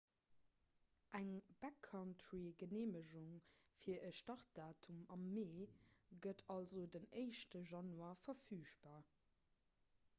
eng backcountry-geneemegung fir e startdatum am mee gëtt also den 1 januar verfügbar